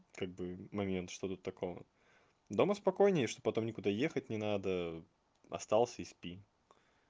как бы момент что тут такого дома спокойнее что потом никуда ехать не надо остался и спи